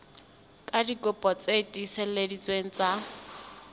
ka dikopi tse tiiseleditsweng tsa